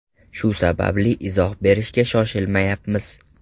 Shu sababli izoh berishga shoshilmayapmiz.